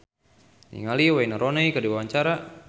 Ersa Mayori olohok ningali Wayne Rooney keur diwawancara